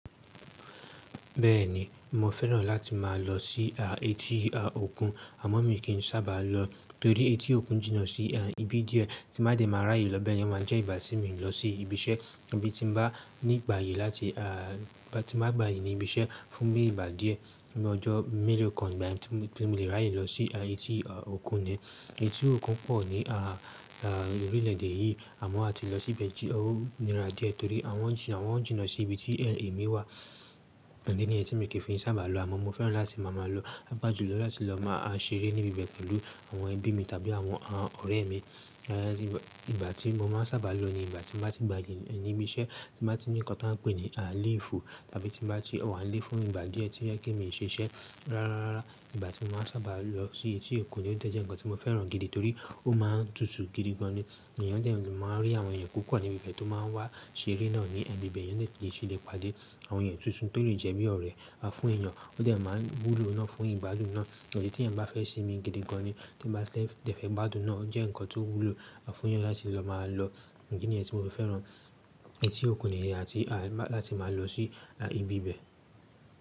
Bẹ́ẹ̀ni, mo fẹ́ràn láti máa lọ sí etí òkun àmọ́ mi kì í sábà lọ torí etí òkun jìnà sí ibi díẹ̀ tí ba de máa ráyè lọ bee yen o máa ń jẹ́ ìgbati mi lọ sí ibi iṣẹ́ bí tí n bá nígbàye láti a tí ba gbà aye ní ibi iṣẹ́ fún bí ìgbà díẹ̀ fun bi ọ́jọ́ mélòó kan igbà tí mo le ráyè lọ sí etí òkun ni. Etí òkun pọ̀ ní orílẹ̀ èdè yìí àmọ́ a ti lọ síbẹ̀ jí ó nírá díẹ̀ torí wọn jìnà sí ibi tí èmi wà idi ni yen tí mi fi ki i sábà lọ àmọ́ mo fẹ́ràn láti máa maá lọ paapaa julọ láti lọ máa ṣeré níbi bẹ̀ pẹ̀lú àwọn ẹbí mi tàbí àwọn ọ̀rẹ́ mi. Ìgbà tí mo máa sábà lọ ni ìgbà tí mo bá ti gbàyí níbi iṣẹ́ tí bá ti ní nǹkan tó ń pè ní léèfù tàbí tí bá ti wà léè fún ìgbà díẹ̀ tí yẹ kí èmi ṣe iṣẹ́ rárá rárá ìgbà tí mo máa sábà lọ sí etí òkun lè tẹ̀ jẹ́ nǹkan tí mo fẹ́ràn gidi torí ó máa tútù gidigan ni. Èèyàn jẹ́ máa rí àwọn èèyàn púpọ̀ níbi ibẹ̀ tó máa wá ṣeré náà ní ibẹ̀ yẹn lè ṣe lè pàdé àwọn èèyàn tuntun torí jẹ́ bí ọ̀rẹ́ á fún èèyàn ó tẹ̀ máa wúlo náà fún ìgbádùn náà. Èyí tí èèyàn bá fẹ́ ṣe mi gidi gan ni tí bá tẹ̀ fẹ́ gbádùn náà ó jẹ́ nǹkan tó wúlo fún èèyàn láti lọ máa lọ. Nǹkan nìyẹn tí mo fẹ́ràn etí òkun ní ayé àti láti máa lọ sí ibi ibẹ̀.